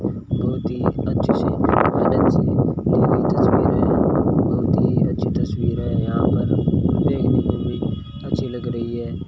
बहुत ही अच्छे दी हुई तस्वीर है बहुत ही अच्छी तस्वीर है यहां पर देखने में भी अच्छी लग रही है।